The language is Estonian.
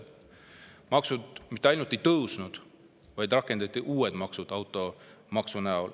Maksud mitte ainult ei tõusnud, vaid rakendati ka uus maks automaksu näol.